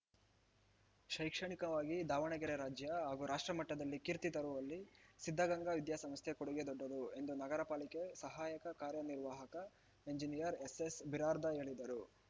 ಶೈಕ್ಷಣಿಕವಾಗಿ ದಾವಣಗೆರೆ ರಾಜ್ಯ ಹಾಗೂ ರಾಷ್ಟ್ರಮಟ್ಟದಲ್ಲಿ ಕೀರ್ತಿ ತರುವಲ್ಲಿ ಸಿದ್ಧಗಂಗಾ ವಿದ್ಯಾಸಂಸ್ಥೆ ಕೊಡುಗೆ ದೊಡ್ಡದು ಎಂದು ನಗರಪಾಲಿಕೆ ಸಹಾಯಕ ಕಾರ್ಯ ನಿರ್ವಾಹಕ ಇಂಜಿನಿಯರ್‌ ಎಸ್‌ಎಸ್‌ಬಿರಾದರ್‌ ಹೇಳಿದರು